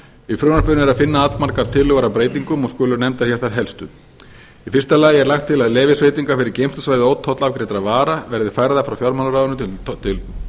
í frumvarpinu er að finna allmargar tillögur að breytingum og skulu nefndar þær helstu í fyrsta lagi er lagt til að leyfisveitingar fyrir geymslusvæði ótollafgreiddra vara verði færðar frá fjármálaráðuneytinu til